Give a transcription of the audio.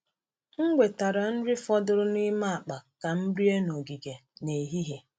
M wetara nri fọdụrụ n’ime akpa ka m rie n’ogige n’ehihie.